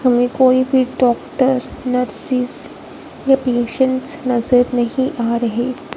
हमें कोई भी डॉक्टर नर्सिस या पेशेंटस नजर नहीं आ रहे।